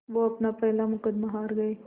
वो अपना पहला मुक़दमा हार गए